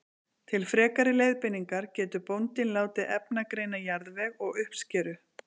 Til frekari leiðbeiningar getur bóndinn látið efnagreina jarðveg og uppskeru.